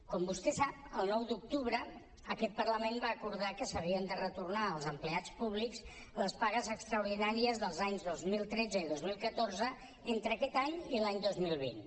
com vostè sap el nou d’octubre aquest parlament va acordar que s’havien de retornar als empleats públics les pagues extraordinàries dels anys dos mil tretze i dos mil catorze entre aquest any i l’any dos mil vint